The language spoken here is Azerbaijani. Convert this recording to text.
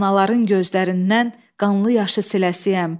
Anaların gözlərindən qanlı yaşı siləsiyəm.